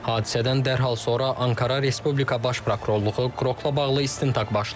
Hadisədən dərhal sonra Ankara Respublika Baş Prokurorluğu Qrokla bağlı istintaq başlayıb.